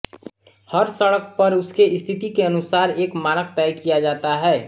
हर सड़क पर उसके स्थिति के अनुसार एक मानक तय किया जाता है